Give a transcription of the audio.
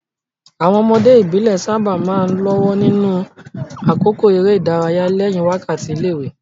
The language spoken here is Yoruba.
Àwọn ọmọdé ìbílẹ̀ sábà máa ń lọ́wọ́ nínú àkókò eré ìdárayá lẹ́yìn wákàtí ilé-ìwé.